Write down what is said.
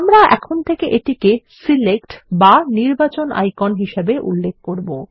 আমরা এখন থেকে এটিকে সিলেক্ট বা নির্বাচন আইকন হিসাবে উল্লেখ করব